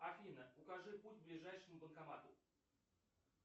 афина укажи путь к ближайшему банкомату